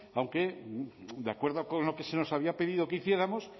aunque de acuerdo con lo que se nos había pedido que hiciéramos